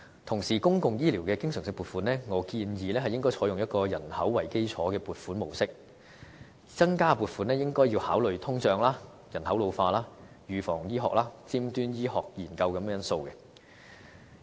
同時，就公共醫療的經常性撥款方面，我建議應採用以人口為基礎的撥款模式，增加撥款應該考慮通脹、人口老化、預防醫學、尖端醫學研究等因素。